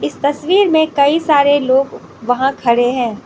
तस्वीर में कई सारे लोग वहां खड़े हैं।